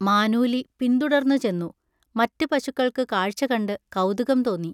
മാനൂലി പിന്തുടർന്നുചെന്നു. മറ്റ് പശുക്കൾക്ക് കാഴ്ചകണ്ട്‌ കൗതുകം തോന്നി.